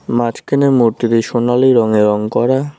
মাঝখানের মূর্তিটি সোনালী রঙে রং করা।